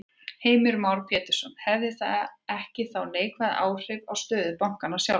Heimir Már Pétursson: Hefði það ekki þá neikvæð áhrif á stöðu bankanna sjálfra?